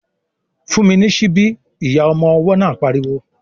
"Fún mi ní síbí!" Ìyá ọmọ ọwọ́ náà pariwo